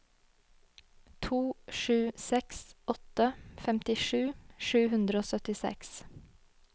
to sju seks åtte femtisju sju hundre og syttiseks